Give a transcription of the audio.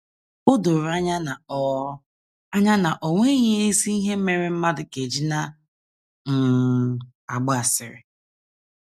O doro anya na o anya na o nweghị ezi ihe mere mmadụ ga - eji na um - agba asịrị.